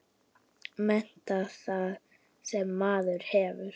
Meta það sem maður hefur.